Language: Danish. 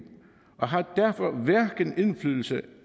og har derfor hverken indflydelse